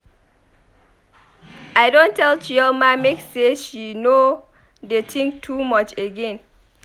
I don tell Chioma make she no dey think too much again.